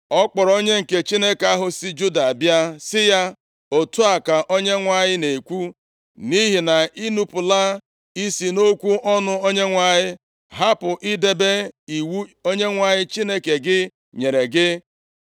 Ọ kpọrọ onye nke Chineke ahụ si Juda bịa sị ya, “Otu a ka Onyenwe anyị na-ekwu, ‘Nʼihi na ị nupula isi nʼokwu ọnụ Onyenwe anyị, hapụ idebe iwu Onyenwe anyị Chineke gị nyere gị.